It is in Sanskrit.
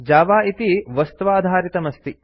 जावा इति वस्त्वाधारितमस्ति